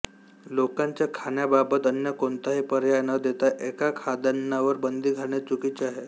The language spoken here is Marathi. लोकांच्या खाण्याबाबत अन्य कोणताही पर्याय न देता एका खाद्यान्नावर बंदी घालणे चुकीचे आहे